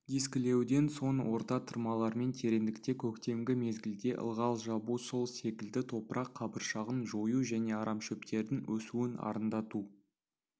дискілеуден соң орта тырмалармен тереңдікте көктемгі мезгілде ылғал жабу сол секілді топырақ қабыршағын жою және арамшөптердің өсуін арандату